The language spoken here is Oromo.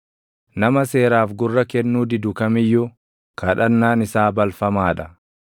Nama seeraaf gurra kennuu didu kam iyyuu, kadhannaan isaa balfamaa dha.